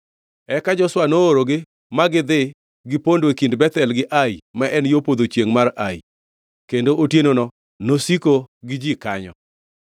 Eka Joshua noorogi ma gidhi gipondo e kind Bethel gi Ai, ma en yo podho chiengʼ mar Ai, kendo otienono nosiko gi ji kanyo.